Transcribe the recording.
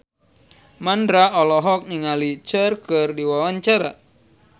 Mandra olohok ningali Cher keur diwawancara